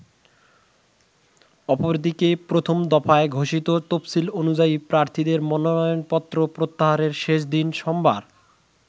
অপরদিকে, প্রথম দফায় ঘোষিত তফসিল অনুযায়ী প্রার্থীদের মনোনয়নপত্র প্রত্যাহারের শেষ দিন সোমবার।